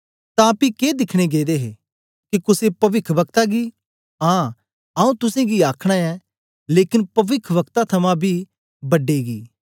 तां पी के दिखन गेदे हे के कुसे पविखवक्ता गी आं आऊँ तुसेंगी आखना ऐं लेकन पविखवक्ता थमां बी बड्डे गी